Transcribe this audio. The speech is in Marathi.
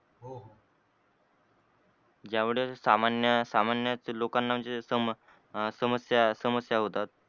ज्यावेळेस सामन्या सामन्या लोकांना म्हणजे समस्या समस्या होतात.